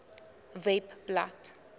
webblad